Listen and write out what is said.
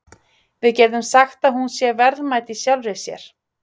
Við getum sagt að hún sé verðmæt í sjálfri sér.